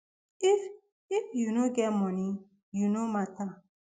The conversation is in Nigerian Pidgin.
if if you no get money you no mata